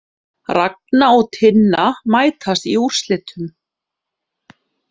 Ragna og Tinna mætast í úrslitum